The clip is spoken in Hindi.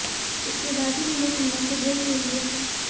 इसके बाद उन्होंने फिल्मों से ब्रेक ले लिया था